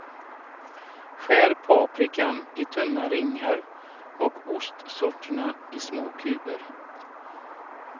Skär paprikan i tunna ringar och ostsorterna i små kuber.